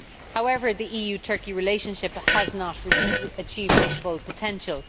However, the EU Turkey relationship has not achieved its full potential.